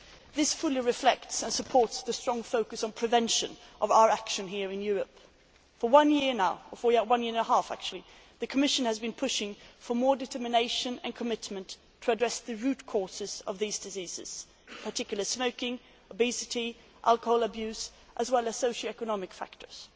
This fully reflects and supports the strong focus on prevention of our action here in Europe. For one and a half years now, the Commission has been pushing for more determination and commitment to addressing the root causes of these diseases in particular smoking, obesity, alcohol abuse, as well as socio economic factors.